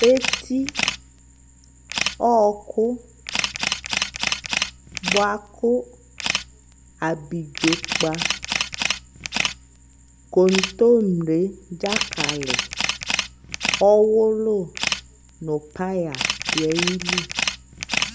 Eti, ɔɔkʋ, bʋakʋ abidzopa kontomre dzakalι, ɔwʋlʋ, nʋ paya dʋ ayili